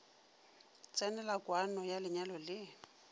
tsenela kwano ya lenyalo le